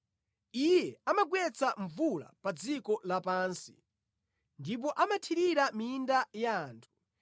Iye amagwetsa mvula pa dziko lapansi, ndipo amathirira minda ya anthu.